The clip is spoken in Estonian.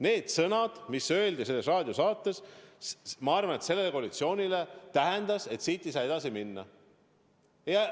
Need sõnad, mis öeldi selles raadiosaates – ma arvan, et koalitsioonile tähendas see seda, et siit ei saa edasi minna.